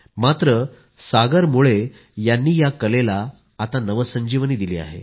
मात्र सागर मुळे यांनी या कलेला आता नवसंजीवनी दिली आहे